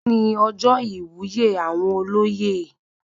Òní ní ọjọ iwuye àwọn olóyè